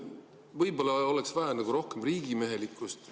Võib-olla oleks vaja rohkem riigimehelikkust.